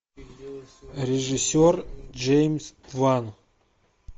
режиссер джеймс ван